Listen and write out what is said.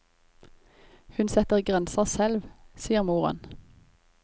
Hun setter grenser selv, sier moren.